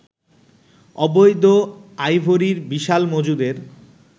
অবৈধ আইভরির বিশাল মজুদের